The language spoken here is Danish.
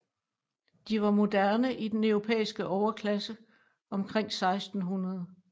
De var moderne i den europæiske overklasse omkring 1600